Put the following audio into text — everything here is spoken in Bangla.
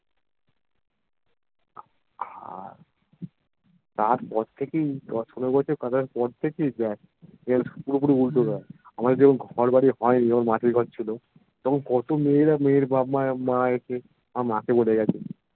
তারপর থেকেই দশ পনেরো বছর পর থেকেই দেখ পুরপুরি উল্টো হয়েগেছে আমাদের যখন ঘরবাড়ি হয়নি মাসির ঘর ছিল তখন কত মেয়েরা মেয়ের বাপ্ মায়েরা এসে আমার মাকে বলেগেছে